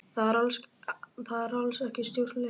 Það er alls ekki stjórnleysi